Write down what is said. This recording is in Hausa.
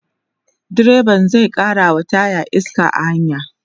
direban zai karawa taya iska a hanya